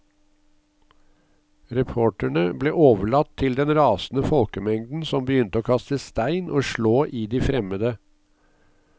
Reporterne ble overlatt til den rasende folkemengden som begynte å kaste stein og slå i de fremmede.